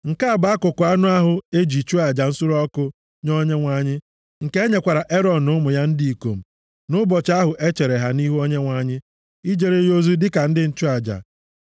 Nke a bụ akụkụ anụ ahụ e ji chụọ aja nsure ọkụ nye Onyenwe anyị, nke e nyekwara Erọn na ụmụ ya ndị ikom nʼụbọchị ahụ e chere ha nʼihu Onyenwe anyị ijere ya ozi dịka ndị nchụaja.